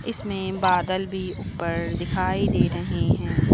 इसमें बादल भी ऊपर दिखाई दे रहे हैं।